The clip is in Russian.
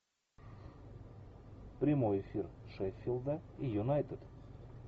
прямой эфир шеффилда и юнайтед